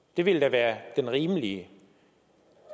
det ville da være den rimelige